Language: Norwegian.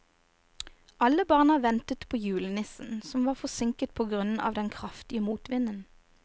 Alle barna ventet på julenissen, som var forsinket på grunn av den kraftige motvinden.